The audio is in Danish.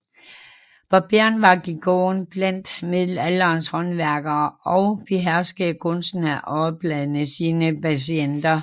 Barberen var kirurgen blandt middelalderens håndværkere og beherskede kunsten at årelade sine patienter